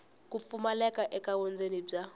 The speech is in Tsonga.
ku pfumaleka ka vundzeni bya